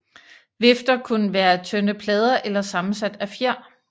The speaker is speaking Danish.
Vifter kunne være af tynde plader eller sammensat af fjer